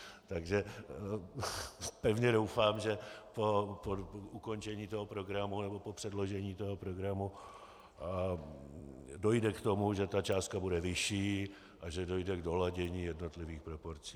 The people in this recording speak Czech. Takže pevně doufám, že po ukončení toho programu, nebo po předložení toho programu, dojde k tomu, že ta částka bude vyšší a že dojde k doladění jednotlivých proporcí.